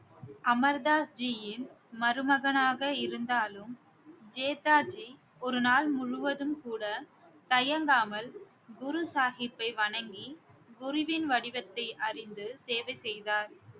அமர் தாஸ் ஜியின் மருமகனாக இருந்தாலும் ஜேதாஜி ஒரு நாள் முழுவதும் கூட தயங்காமல் குரு சாஹிப்பை வணங்கி குருவின் வடிவத்தை அறிந்து சேவை செய்தார்